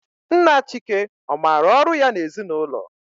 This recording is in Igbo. Nna Chike ọ maara ọrụ ya n'ezinụlọ?